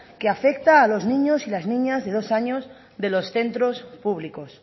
que afecta a los niños y las niñas de dos años de los centros públicos